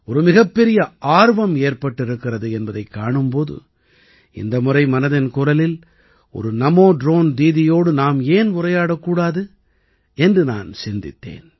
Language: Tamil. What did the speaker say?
ஒரு மிகப்பெரிய ஆர்வம் ஏற்பட்டிருக்கிறது என்பதைக் காணும் போது இந்த முறை மனதின் குரலில் ஒரு நமோ ட்ரோன் தீதியோடு நாம் ஏன் உரையாடக் கூடாது என்று நான் சிந்தித்தேன்